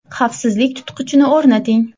Xavfsizlik tutqichini o‘rnating.